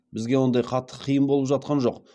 бізге ондай қатты қиын болып жатқан жоқ